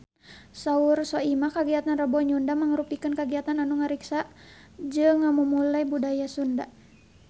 Saur Soimah kagiatan Rebo Nyunda mangrupikeun kagiatan anu ngariksa jeung ngamumule budaya Sunda